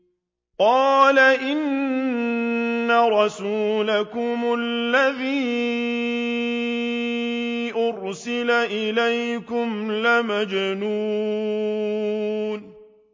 قَالَ إِنَّ رَسُولَكُمُ الَّذِي أُرْسِلَ إِلَيْكُمْ لَمَجْنُونٌ